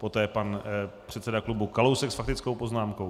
Poté pan předseda klubu Kalousek s faktickou poznámkou.